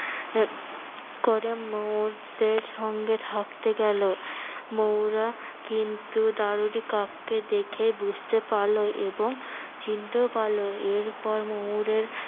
পরে ময়ূরদের সঙ্গে থাকতে গেলো। ময়ূররা কিন্তু দারুরী কাককে দেখে বুঝতে পারলো এবং চিনতেও পারলো এরপর ময়ূরের